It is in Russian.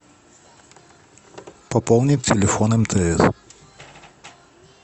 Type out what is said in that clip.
пополнить телефон мтс